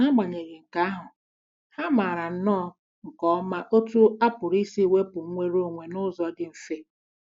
N'agbanyeghị nke ahụ, ha maara nnọọ nke ọma otú a pụrụ isi wepụ nnwere onwe n'ụzọ dị mfe..